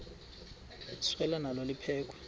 selwa nalo liphekhwe